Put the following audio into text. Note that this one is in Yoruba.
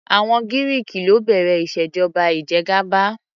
Àwọn Giriki ló bẹ̀rẹ̀ ìṣèjọba ìjẹgàba.